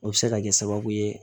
O bɛ se ka kɛ sababu ye